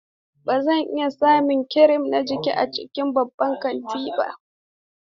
Ba zan iya samun kirim na jikina a cikin babban kantin ba.